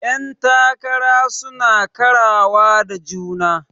Yan takara suna karawa da juna.